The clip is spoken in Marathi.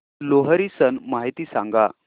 लोहरी सण माहिती सांगा